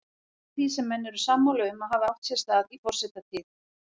Eitt af því sem menn eru sammála um að hafi átt sér stað í forsetatíð